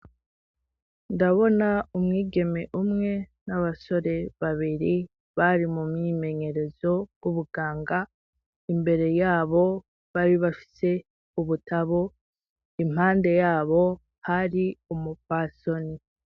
Ndabona umwigeme umwe n'abasore babiri bari mu mwimenyerezo w'ubuganga, imbere y'abo bari bafise ubutabo, impande y'abo hari umupfasoni.